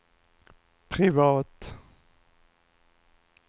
privat